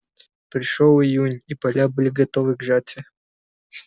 пришёл июнь и поля были готовы к жатве